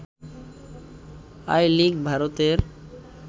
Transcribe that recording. I league ভারতের